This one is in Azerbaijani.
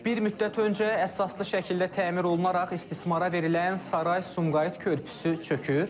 Bir müddət öncə əsaslı şəkildə təmir olunaraq istismara verilən Saray-Sumqayıt körpüsü çökür?